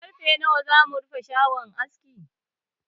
Karfe nawa za mu rufe shagon askin?